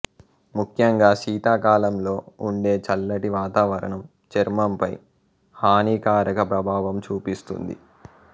ముఖ్యంగా శీతాకాలంలో ఉండే చల్లటి వాతావరణం చర్మంపై హానికారక ప్రభావం చూపిస్తుంది